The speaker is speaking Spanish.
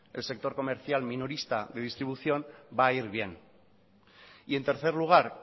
el sector comercial minorista de distribución va a ir bien y en tercer lugar